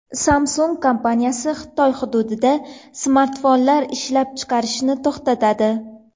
Samsung kompaniyasi Xitoy hududida smartfonlar ishlab chiqarishni to‘xtatadi.